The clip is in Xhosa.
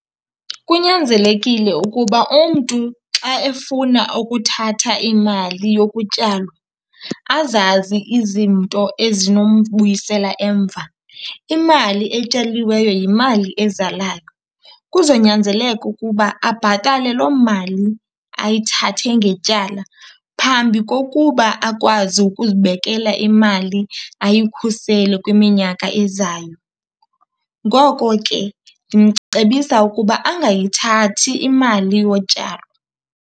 Kunyanzelekile ukuba umntu xa efuna ukuthatha imali yokutyalwa azazi izinto ezinombuyisela emva. Imali etyaliweyo yimali ezalayo. Kuzonyanzeleka ukuba abhatale loo mali ayithathe ngetyala phambi kokuba akwazi ukuzibekela imali ayikhusele kwiminyaka ezayo. Ngoko ke ndimcebisa ukuba angayithathi imali yotyalo.